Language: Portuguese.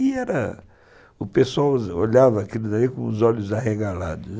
E era... o pessoal olhava aquilo daí com os olhos arregalados.